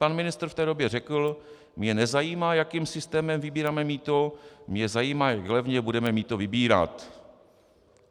Pan ministr v té době řekl: Mě nezajímá, jakým systémem vybíráme mýto, mě zajímá, jak levně budeme mýto vybírat.